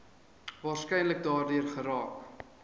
waarskynlik daardeur geraak